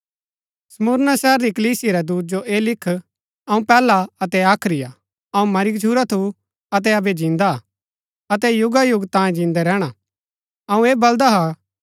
स्मुरना शहर री कलीसिया रै दूत जो ऐह लिख अऊँ पैहला अतै आखरी हा अऊँ मरी गच्छुरा थू अतै अबै जिन्दा हा अतै युगायुग तांये जिन्दै रैहणा अऊँ ऐ बलदा हा कि